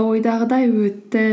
ойдағыдай өтті